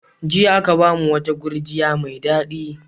Jiya aka ba mu wata gurjiya mai daɗi.